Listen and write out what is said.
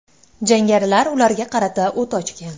Jangarilar ularga qarata o‘t ochgan.